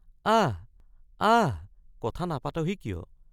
আহ্‌ আহ্‌ কথা নাপাতহি কিয়?